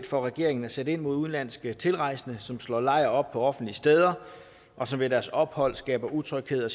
for regeringen at sætte ind mod udenlandske tilrejsende som slår lejr på offentlige steder og som ved deres ophold skaber utryghed